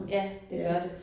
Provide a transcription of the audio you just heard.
Ja det gør det